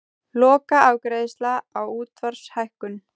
Lokaafgreiðsla á útsvarshækkun